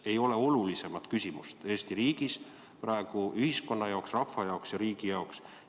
Praegu ei ole olulisemat küsimust Eesti riigis ühiskonna jaoks, rahva jaoks ja riigi jaoks.